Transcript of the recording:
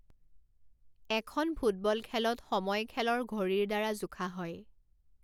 এখন ফুটবল খেলত সময় খেলৰ ঘড়ীৰ দ্বাৰা জোখা হয়।